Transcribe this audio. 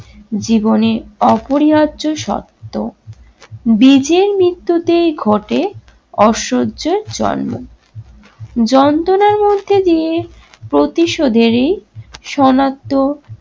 জীবনে অপরিহার্য সত্য। বীজের মৃত্যুতেই ঘটে অসহ্যর জন্ম। যন্ত্রণার মধ্য দিয়ে প্রতিশোধেরই শনাক্ত